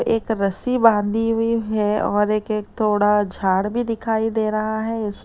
एक रस्सी बांधी हुई है और एक एक थोड़ा झाड़ भी दिखाई दे रहा है इसमें--